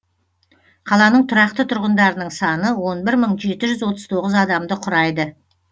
қаланың тұрақты тұрғындарының саны он бір мың жеті жүз отыз тоғыз адамды құрайды